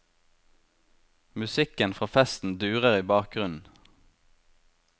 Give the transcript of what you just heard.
Musikken fra festen durer i bakgrunnen.